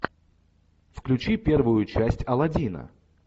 включи первую часть алладина